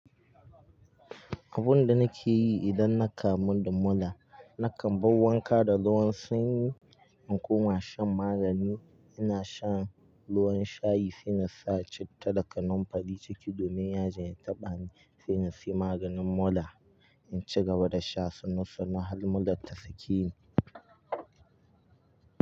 Abun da nake yi idan na kamu da mura, nakan bar wanka da ruwan sanyi in kuma shan magani. Ina shan ruwan shayi sai na sa citta da kanamfari ciki domin yaji ya taɓa ni, sai na sayi maganin mura in ci gaba da sha sannu sannu har murar ta sake ni.